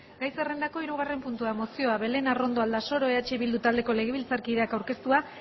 gai zerrendako hirugarren puntua mozioa belén arrondo aldasoro eh bildu taldeko legebiltzarkideak aurkeztua